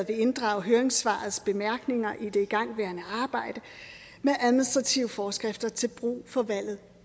vil inddrage høringssvarets bemærkninger i det igangværende arbejde med administrative forskrifter til brug for valget